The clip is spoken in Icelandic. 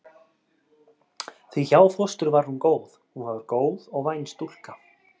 Því hjá fóstru var hún góð, hún var góð og væn stúlka.